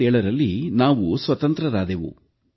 1947ರಲ್ಲಿ ನಾವು ಸ್ವತಂತ್ರರಾದೆವು